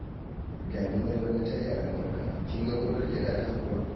Daminar bana ta yi albarka! Kin ga gonar gyaɗata kuwa?